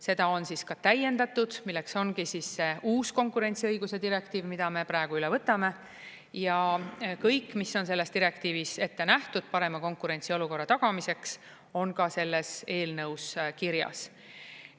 Seda on ka täiendatud, milleks ongi see uus konkurentsiõiguse direktiiv, mida me praegu üle võtame, ja kõik, mis on selles direktiivis ette nähtud parema konkurentsiolukorra tagamiseks, on ka selles eelnõus kirjas.